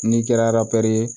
N'i kɛra araba ye